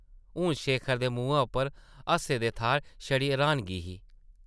हून शेखर दे मुहैं उप्पर हासे दे थाह्र छड़ी र्हानगी ही ।